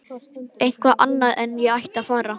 Eitthvað annað en að ég ætti að fara.